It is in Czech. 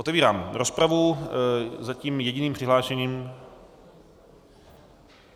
Otevírám rozpravu, zatím jediným přihlášeným...